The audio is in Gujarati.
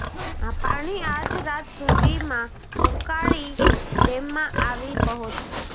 આ પાણી આજ રાત સુધીમાં ઊકાઈ ડેમમાં આવી પહોંચશે